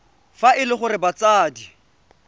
fa e le gore batsadi